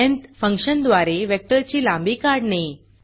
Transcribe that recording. lengthलेंत फंक्शनद्वारे वेक्टरची लांबी काढणे